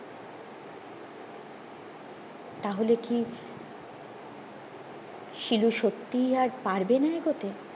তাহলে কি শিলু সত্যিই আর পারবেনা এগোতে